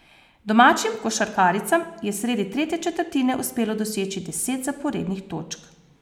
Domačim košarkaricam je sredi tretje četrtine uspelo doseči deset zaporednih točk.